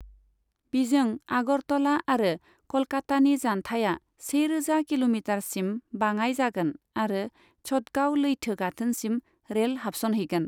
बिजों आगरतला आरो क'लकातानि जानथाइआ सेरोजा किल'मिटारसिम बाङाइ जागोन आरो चटगाव लैथो गाथोनसिम रेल हाबसनहैगोन।